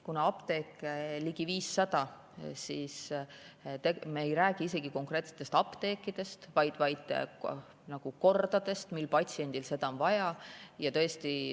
Kuna apteeke on ligi 500, siis me ei räägi konkreetsetest apteekidest, vaid nagu kordadest, millal patsiendil seda vaja on.